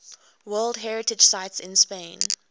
world heritage sites in spain